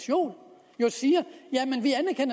jo siger